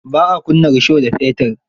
Ba a kunna rusho da fetir.